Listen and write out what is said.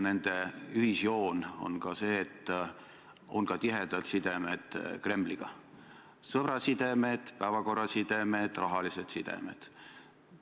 Nende ühisjoon on see, et on tihedad sidemed Kremliga, sõbrasidemed, päevakorrasidemed, rahalised sidemed.